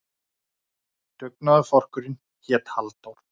Dugnaðarforkurinn hét Halldór.